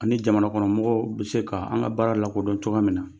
Ani jamana kɔnɔmɔgɔw bɛ se ka an ka baara lakodɔn cogoya min na